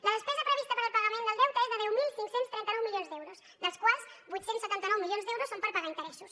la despesa prevista per al pagament del deute és de deu mil cinc cents i trenta nou milions d’euros dels quals vuit cents i setanta nou milions d’euros són per pagar interessos